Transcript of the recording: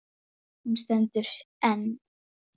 Nú voru góð ráð dýr!